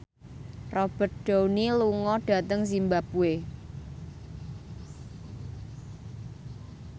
Robert Downey lunga dhateng zimbabwe